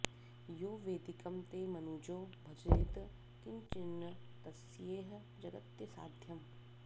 यो वैदिकं ते मनुजो भजेत किञ्चिन्न तस्येह जगत्यसाध्यम्